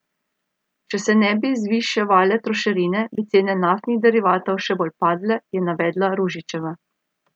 Če se ne bi zviševale trošarine, bi cene naftnih derivatov še bolj padle, je navedla Ružićeva.